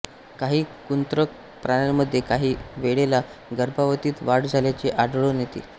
काही कृंतक प्राण्यांमध्ये काही वेळेला गर्भावधीत वाढ झाल्याचे आढळून येते